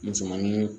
Musomanin